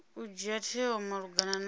u dzhia tsheo malugana na